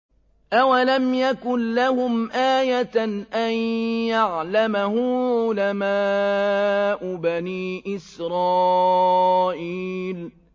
أَوَلَمْ يَكُن لَّهُمْ آيَةً أَن يَعْلَمَهُ عُلَمَاءُ بَنِي إِسْرَائِيلَ